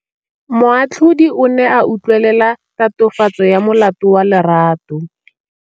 Moatlhodi o ne a utlwelela tatofatsô ya molato wa Lerato.